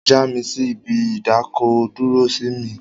Já mi sí ibi ìdákọ̀-dúró sí mi!